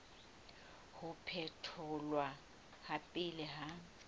ho phetholwa ha pele ha